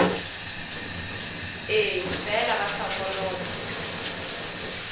ee fela ba sa kolota